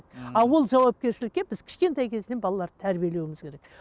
ал ол жауапкершілікке біз кішкентай кезімізден балаларды тәрбиелеуіміз керек